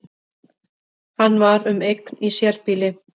Hann var um eign í sérbýli